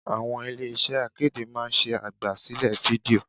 Àwọn ilé iṣẹ́ akéde máa ń ṣe àgbà sílẹ̀ fídíò.